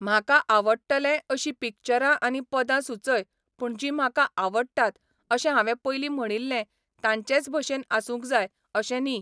म्हाका आवडटले अशीं पिक्चरां आनी पदां सुचय पूण जीं म्हाका आवडटात अशें हांवें पयलीं म्हणिल्लें तांचेच भशेन आसूंक जाय अशें न्ही